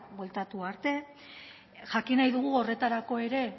bueltatu arte jakin nahi dugu horretarako ere